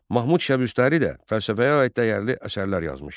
Mahmud Şəbüstəri də fəlsəfəyə aid dəyərli əsərlər yazmışdı.